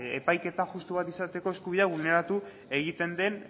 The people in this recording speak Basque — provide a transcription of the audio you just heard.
epaiketa justu bat izateko eskubidea bulneratu egiten den